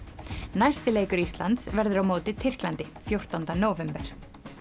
næsti leikur Íslands verður á móti Tyrklandi fjórtánda nóvember